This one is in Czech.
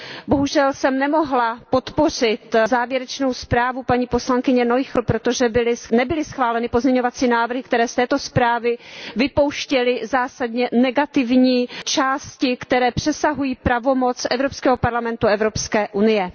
Bohužel jsem nemohla podpořit závěrečnou zprávu paní poslankyně Noichlové, protože nebyly schváleny pozměňovací návrhy, které z této zprávy vypouštěly zásadně negativní části, které přesahují pravomoc Evropského parlamentu a Evropské unie.